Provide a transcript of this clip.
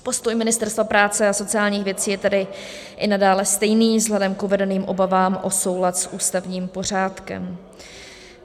Postoj Ministerstva práce a sociálních věcí je tedy i nadále stejný vzhledem k uvedeným obavám o soulad s ústavním pořádkem.